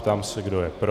Ptám se, kdo je pro.